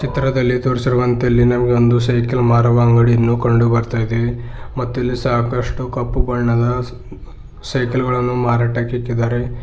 ಚಿತ್ರದಲ್ಲಿ ತೋರಿಸಿರುವಂತೆ ಇಲ್ಲಿ ನಮಗೆ ಒಂದು ಸೈಕಲ್ ಮಾರುವ ಅಂಗಡಿಯನ್ನು ಕಂಡು ಬರ್ತಾ ಇದೆ ಮತ್ತಿಲ್ಲಿ ಸಾಕಷ್ಟು ಕಪ್ಪು ಬಣ್ಣದ ಸೈಕಲ್ ಗಳನ್ನು ಮಾರಾಟಕ್ಕಿಕ್ಕಿದ್ದಾರೆ.